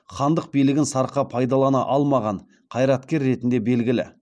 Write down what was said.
хандық билігін сарқа пайдалана алмаған қайраткер ретінде белгілі